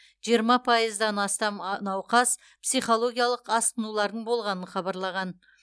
жиырма пайыздан астам науқас психологиялық асқынулардың болғанын хабарлаған